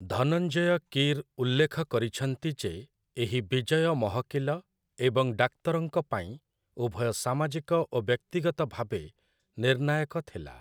ଧନଞ୍ଜୟ କୀର୍ ଉଲ୍ଲେଖ କରିଛନ୍ତି ଯେ ଏହି ବିଜୟ ମହକିଲ ଏବଂ ଡାକ୍ତରଙ୍କ ପାଇଁ, ଉଭୟ ସାମାଜିକ ଓ ବ୍ୟକ୍ତିଗତ ଭାବେ, ନିର୍ଣ୍ଣାୟକ ଥିଲା ।